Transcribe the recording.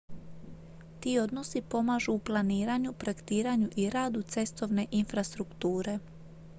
ti odnosi pomažu u planiranju projektiranju i radu cestovne infrastrukture